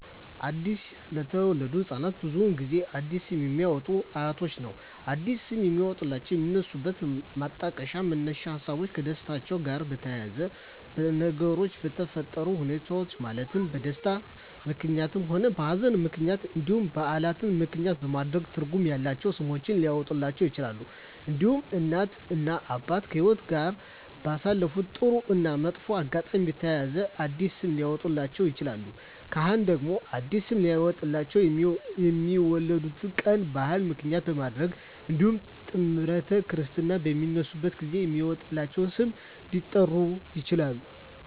አዲስ ለተወለዱ ህፃናት ብዙውን ጊዜ አዲስ ስም የሚያወጡሏቸው አያቶቻቸውን ነው አዲስ ስም የሚያወጧላቸው የሚነሱበት ማጣቀሻ መነሻ ሀሳቦች ከደስታቸው ጋር በተያያዘ በነገሮች በተፈጠረ ሁኔታዎች ማለትም በደስታም ምክንያትም ሆነ በሀዘንም ምክንያት እንዲሁም በዓላትን ምክንያትም በማድረግ ትርጉም ያላቸው ስሞች ሊያወጡላቸው ይችላሉ። እንዲሁም እናት እና አባት ከህይወትአቸው ጋር ባሳለፉት ጥሩ እና መጥፎ አጋጣሚ በተያያዘ አዲስ ስም ሊያወጡላቸው ይችላሉ። ካህናት ደግሞ አዲስ ስም ሊያወጡላቸው የሚወለዱበት ቀን በዓል ምክንያት በማድረግ እንዲሁም ጥምረተ ክርስትና በሚነሱበት ጊዜ በሚወጣላቸው ስም ሊጠሩ ይችላሉ።